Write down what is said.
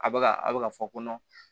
A bɛ ka a bɛ ka fɔ ko